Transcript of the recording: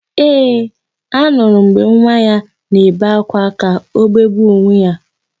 Ee, anụrụ m mgbe nwa ya na-ebe ákwá ka o begbuo onwe ya.